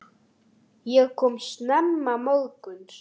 Ég kom snemma morguns.